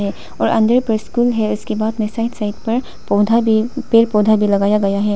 और अंदर पे स्कूल है उसके बाद में साइड साइड पर पौधा भी पेड़ पौधा भी लगाया गया हैं।